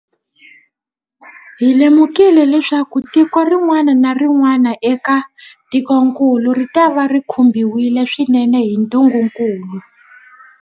Hi lemukile leswaku tiko rin'wana na rin'wana eka tikokulu ritava ri khumbiwile swinene hi ntungukulu.